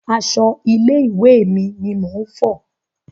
Aṣọ ilé ìwé mi ni mò ń fọ̀.